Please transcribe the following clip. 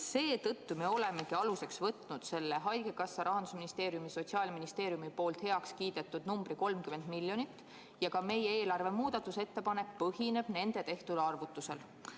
Seetõttu me olemegi aluseks võtnud selle haigekassa, Rahandusministeeriumi ja Sotsiaalministeeriumi heaks kiidetud numbri 30 miljonit ja ka meie eelarve muudatusettepanek põhineb nende tehtud arvutusel.